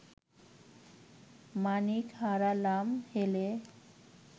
মাণিক হারালাম হেলে